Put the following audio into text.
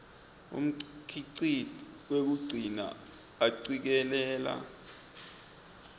umkhicito wekugcina acikelela